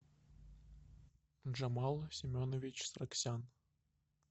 джамал семенович сраксян